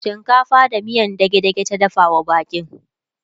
shinkafa da miyan dage dage ta dafawa baƙin